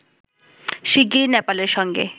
শিগগিরই নেপালের সঙ্গে